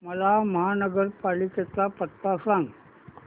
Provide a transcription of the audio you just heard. मला महापालिकेचा पत्ता सांग